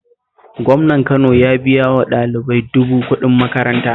Gwamnan Kano ya biya wa ɗalibai dubu kuɗin makaranta